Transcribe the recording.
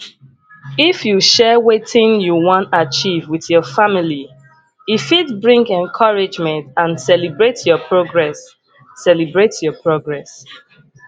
if you share wetin you wan achieve with your family e fit bring encouragement and celebrate your progress celebrate your progress